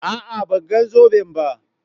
a'a ban ga zoben ba